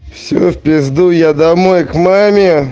все в пизду я домой к маме